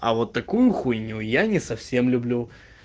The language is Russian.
а вот такую хуйню я не совсем люблю